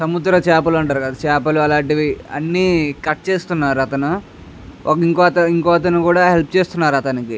సముద్ర చేపలు అంటారు కదా అన్ని కట్ చేస్తున్నారు అతను ఇంకొకరు హెల్ప్ చేస్తున్నారు అతనికి --